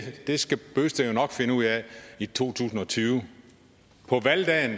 skal bent bøgsted nok finde ud af i to tusind og tyve på valgdagen